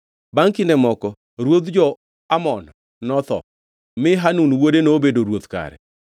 Bangʼ kinde moko ruodh jo-Amon notho, mi Hanun wuode nobedo ruoth kare.